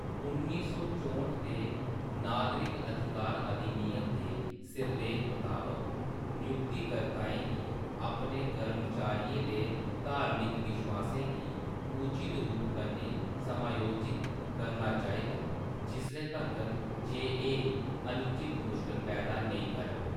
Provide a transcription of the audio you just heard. उन्नी सौ चौह्ट दे नागरिक अधिकार अधिनियम दे सिरलेख मताबक, नियुक्ति कर्ताएं गी अपने कर्मचारियें दे धार्मिक विश्वासें गी ’’उचित रूप कन्नै समायोजित’’ करना चाहिदा, जिसले तक्कर जे एह् ’’अनुचित मुश्कल’’ पैदा नेईं करन।